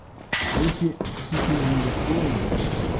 а если ты чего-то не достоин